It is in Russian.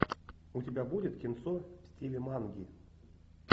у тебя будет кинцо в стиле манги